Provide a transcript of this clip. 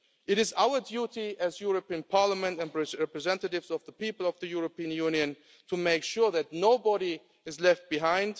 It is our duty as the European Parliament and representatives of the people of the European Union to make sure that nobody is left behind.